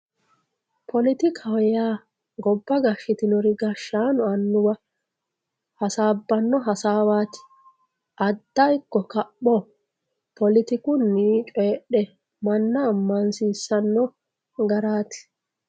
politikaho yaa gobba gashshitino gashshaano annuwa hasaabbanno hasaawaati adda ikko kapho politikunni coydhe manna ammansiissanno garaati.